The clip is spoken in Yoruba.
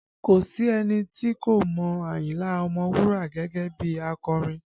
Kò sí ẹni tí kò mọ Ayinla Ọmọwura gẹ́gẹ́ bí akọrin